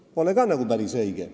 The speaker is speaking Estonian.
See pole ka nagu päris õige.